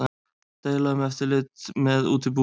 Deila um eftirlit með útibúum